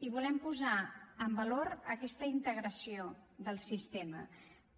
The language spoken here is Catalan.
i volem posar en valor aquesta integració del sistema